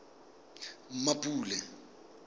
mmapule